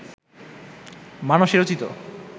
মানসে রচিত